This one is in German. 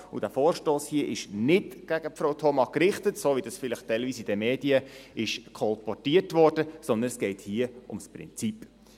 Dieser Vorstoss ist nicht gegen Frau Thoma gerichtet, wie dies vielleicht teilweise in den Medien kolportiert wurde, sondern es geht hier ums Prinzip.